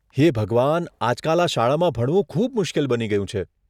હે ભગવાન, આજકાલ આ શાળામાં ભણવું ખૂબ મુશ્કેલ બની ગયું છે.